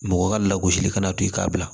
Mɔgɔ ka lagosi kana to i k'a bila